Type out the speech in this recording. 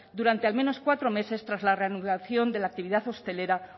durante al menos cuatro meses tras la reanudación de la actividad hostelera